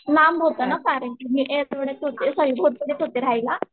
लांब होत ना कारण की मी आठवड्यात होते झोपडीत होते रहायला